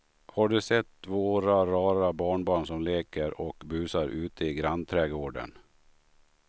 Har du sett våra rara barnbarn som leker och busar ute i grannträdgården!